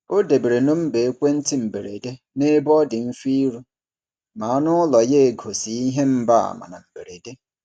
Ọ debere nọmba ekwentị mberede n’ebe ọ dị mfe iru ma anụ ụlọ ya egosi ihe mgbaàmà na mberede.